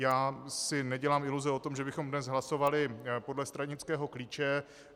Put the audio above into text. Já si nedělám iluze o tom, že bychom dnes hlasovali podle stranického klíče.